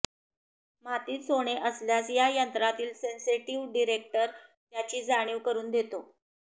मातीत सोने असल्यास या यंत्रातील सेन्सेटिव्ह डिटेक्टर त्याची जाणीव करून देतो